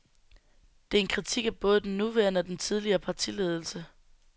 Det er en kritik af både den nuværende og den tidligere partiledelse.